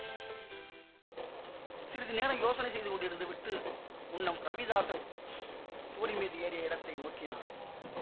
சிறிது நேரம் யோசனை செய்து கொண்டிருந்துவிட்டு முன்னம் ரவிதாஸன் சுவரின் மீது ஏறிய இடத்தை நோக்கினாள்